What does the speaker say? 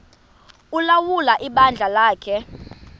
ulawula ibandla lakhe